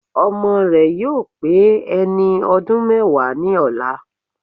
Ọmọ rẹ̀ yóò pé ẹni ọdún mẹ́wàá ní ọ̀la